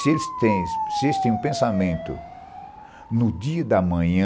Se eles têm se eles tem um pensamento no dia da manhã,